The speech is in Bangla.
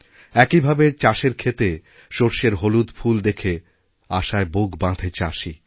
একইভাবে চাষের ক্ষেতে সর্ষের হলুদ ফুলদেখে আশায় বুক বাঁধে চাষি